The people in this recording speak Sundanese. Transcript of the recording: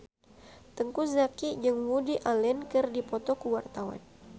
Teuku Zacky jeung Woody Allen keur dipoto ku wartawan